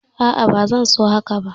A'a ba zan so haka ba